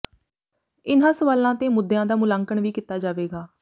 ਇਨ੍ਹਾਂ ਸਵਾਲਾਂ ਤੇ ਮੁੱਦਿਆਂ ਦਾ ਮੁਲਾਂਕਣ ਵੀ ਕੀਤਾ ਜਾਵੇਗਾ